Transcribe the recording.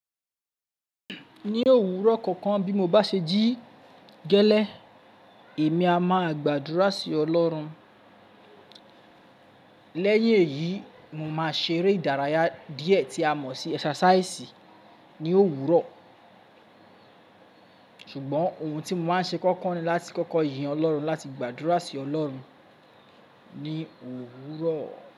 Ní òwúrọ̀ kankan bí mo bá ṣe jí gẹ́lẹ́, èmi a máa gbàdúrà sí ọlọ́run. Lẹ́yìn èyí, mo máa ṣe eré ìdárayá díẹ̀ tí a mọ̀ sí ẹsàsáísì ní òwúrọ̀. Ṣùgbọ́n ohun tí mo máa ń ṣe kọ́kọ́ ni láti kọ́kọ́ yan ọlọ́run láti gbàdúrà sí ọlọ́run ní òwúrọ̀.